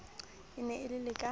e ne e le ka